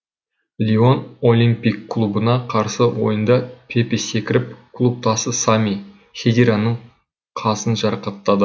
лион олимпик клубына қарсы ойында пепе секіріп клубтасы сами хедираның қасын жарақаттады